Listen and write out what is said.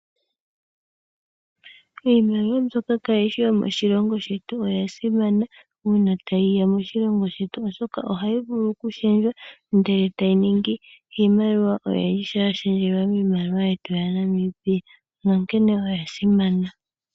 Iimaliwa mbyoka kayi shi yomoshilongo shetu oya simana uuna tayi ya moshilongo shetu, oshoka ohayi vulu okushendjwa, ndele tayi ningi iimaliwa oyindji uuna ya shendjelwa miimaliwa yetu yaNamibia. Onkene oya simana.